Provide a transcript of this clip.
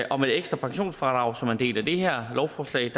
og med det ekstra pensionsfradrag som er en del af det her lovforslag